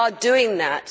They are doing that.